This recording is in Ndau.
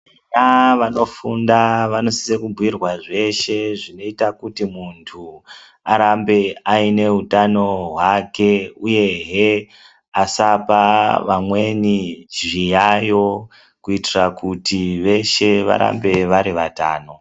Vana vanofunda, vanosisa kubhukirwa zveshe, zvinoita kuti munthu arambe aine utano hwake, uyehe asapa vamweni zviyayo, kuitira kuti veshe varambe vari vatano.